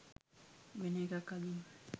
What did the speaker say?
වෙන එකක් අඳින්න.